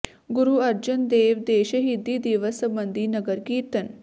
ਗੁਰੂ ਅਰਜਨ ਦੇਵ ਦੇ ਸ਼ਹੀਦੀ ਦਿਵਸ ਸਬੰਧੀ ਨਗਰ ਕੀਰਤਨ